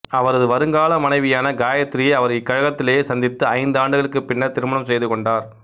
அவரது வருங்கால மனைவியான காயத்திரியை அவர் இக்கழகத்திலேயே சந்தித்து ஐந்து ஆண்டுகளுக்குப் பின்னர் திருமணம் செய்துகொண்டார்